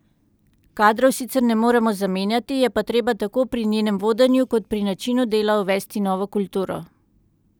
Kadrov sicer ne moremo zamenjati, je pa treba tako pri njenem vodenju kot pri načinu dela uvesti novo kulturo.